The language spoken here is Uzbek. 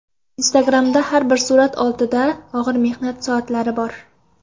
Instagram’dagi har bir surat ortida og‘ir mehnat soatlari bor”.